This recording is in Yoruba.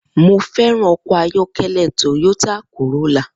Mo fé̩ràn o̩kò̩ ayó̩ké̩lé̩ Toyota Corolla